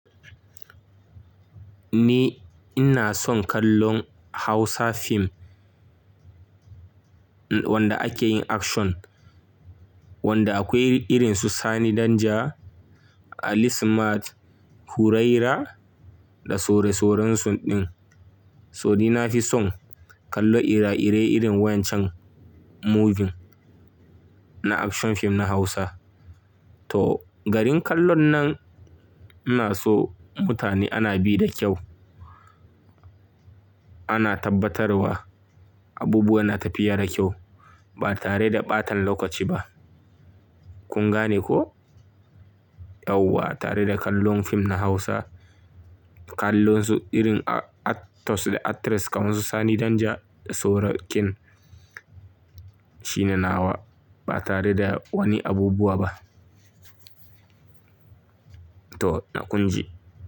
Ni ina son kallon Hausa fim wanda ake yin action, wanda akwai irin su Sani Danja, Ali Smart, Huraira da sore soren su din. So nina fi son kallo ire-ire irin wancan movie na action fim na Hausa. To garin kallon nan ina so mutane ana bi da kyau Ana tabbatarwa abubuwa na tafiya da kyau ba tare da ɓatan lokaci ba. Kun gane ko? Yauwa tare da kallon fim na Hausa, kallon su irin actors da actress kaman su Sani Danja da soro kin shi ne nawa ba tare da wani abubuwa ba. To na kunji.